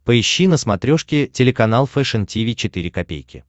поищи на смотрешке телеканал фэшн ти ви четыре ка